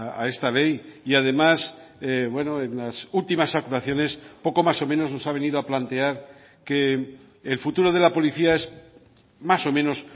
a esta ley y además bueno en las últimas actuaciones poco más o menos nos ha venido a plantear que el futuro de la policía es más o menos